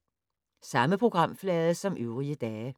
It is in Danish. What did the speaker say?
Samme programflade som øvrige dage